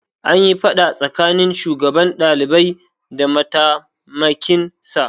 Anyi faɗa tsakanin shugaban ɗalibai da mataimkin sa